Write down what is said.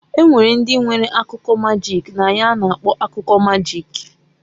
Enwere ndi nwere akụkọ magik na ya a na-akpọ akụkọ magik.